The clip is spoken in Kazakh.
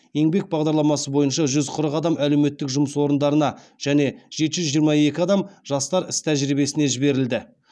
еңбек бағдарламасы бойынша жүз қырық адам әлеуметтік жұмыс орындарына және жеті жүз жиырма екі адам жастар іс тәжірибесіне жіберілді